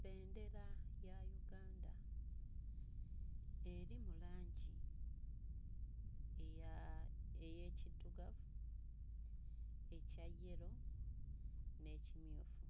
Bbendera ya Uganda eri mu langi eya... ey'ekiddugavu, ekya yero n'ekimyufu